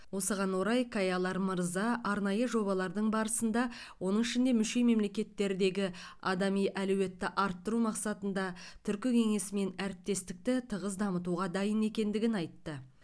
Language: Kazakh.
осыған орай каялар мырза арнайы жобалардың барысында оның ішінде мүше мемлекеттердегі адами әлеуетті арттыру мақсатында түркі кеңесімен әріптестікті тығыз дамытуға дайын екендігін айтты